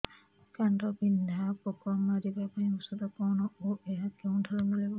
କାଣ୍ଡବିନ୍ଧା ପୋକ ମାରିବା ପାଇଁ ଔଷଧ କଣ ଓ ଏହା କେଉଁଠାରୁ ମିଳିବ